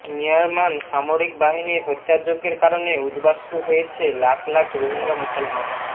মিয়ারমান সামরিক বাহিনীর হত্যাযজ্ঞের কারণে উদ্বাস্তু হয়েছে লাখ লাখ রোহিঙ্গা মুসলমান